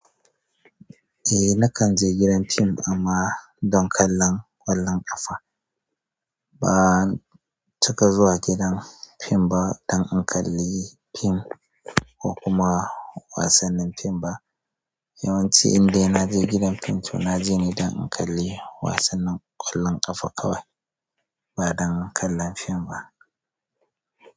Eh nakan je gidan fim amma don kallon ƙwallon ƙafa. Ban cika zuwa gidan fim ba don in kalli fim, ko kuma wasannin fim ba. Yawanci indai na je gidan fim to na je ne don in kalli wasannin ƙwallon ƙafa kawai, ba don kallon fim ba.